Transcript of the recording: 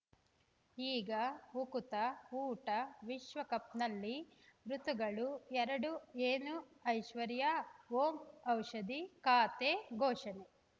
ಈಗ ಉಕುತ ಊಟ ವಿಶ್ವಕಪ್‌ನಲ್ಲಿ ಋತುಗಳು ಎರಡು ಏನು ಐಶ್ವರ್ಯಾ ಓಂ ಔಷಧಿ ಖಾತೆ ಘೋಷಣೆ